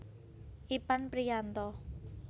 Ipan Priyanto